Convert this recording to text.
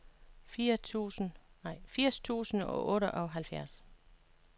firs tusind og otteoghalvfjerds